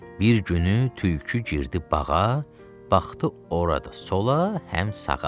Bir günü tülkü girdi bağa, baxdı ora da sola, həm sağa.